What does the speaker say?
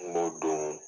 N m'o don